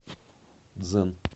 дзен